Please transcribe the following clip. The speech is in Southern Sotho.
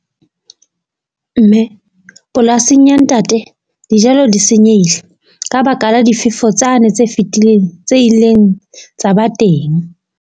Mme polasing ya ntate, dijalo di senyehile, ka baka la difefo tsane tse fitileng tse ileng tsa ba teng.